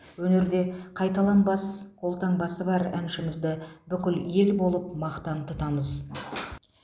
өнерде қайталанбас қолтаңбасы бар әншімізді бүкіл ел болып мақтан тұтамыз